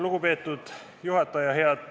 Lugupeetud juhataja!